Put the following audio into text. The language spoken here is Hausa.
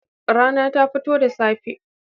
Rana ta fito da safe.